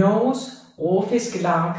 Norges Råfisklag